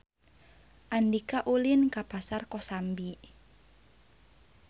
Andika ulin ka Pasar Kosambi